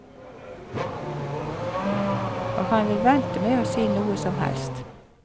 Og han vil vente med å si noe som helst.